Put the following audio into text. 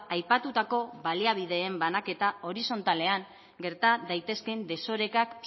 aipatutako baliabideen banaketa horizontalean gerta daitezkeen desorekak